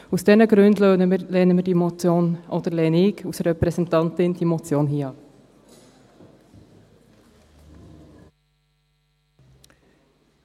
Aus diesen Gründen lehnen wir, oder lehne ich als Repräsentantin, diese Motion hier ab.